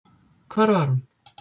Hvar var hún?